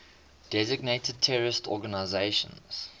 designated terrorist organizations